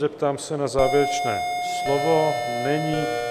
Zeptám se na závěrečné slovo - není.